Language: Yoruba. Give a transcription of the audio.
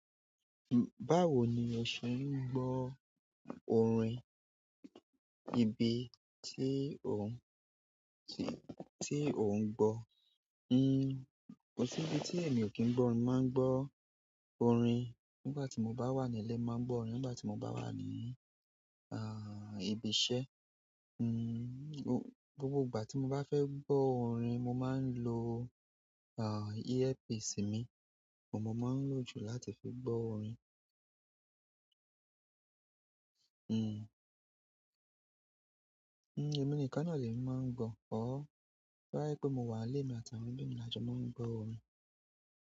Báwo ni ẹ̀ ṣé n gbọ́ orin? Ibi ti o n-- ti o n gbo ni n-- kọ̀ sí ibi tí èmi kì n gbọ́ orin, máa ń gbọ́ orin nígbà tí mo bá wà ní ilé mo máa ń gbọ́ orin, nígbà tí mo bá wà ní, ibi iṣẹ́, n-- gbogbo ìgbà tí mo bá fẹ́ gbọ́ orin mo máa ń lo, earpiece mi òun mo máa ń lò jù láti fi gbọ́ orin. Èmi nìkan ni ó lèmi máa ń gbọ́, or, to bá jé pé mo wà nílé mi àti àwọn ẹbí mi lajọ máa ń gbọ́ orin.